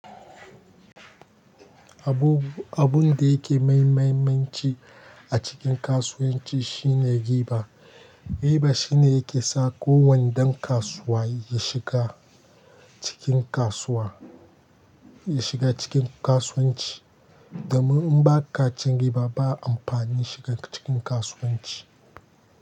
Abun, abun da yake mai mahimmanci a cikin kasuwanci shine riba. Riba shine yake sa kowannen ɗan kasuwa ya shiga cikin kasuwa, ya shiga cikin kasuwanci. Domin in ba ka cin riba, ba amfani shiga ka cikin kasuwanci.